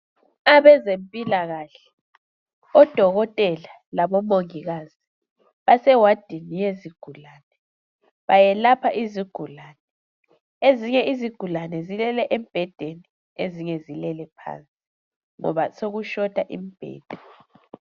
Abezempilakahle, odokotela labomongikazi basewadini yezigulane, bayelapha izigulane. Ezinye izigulane zilele embhedeni ezinye izigulane zilele phansi ngoba sokushota imbheda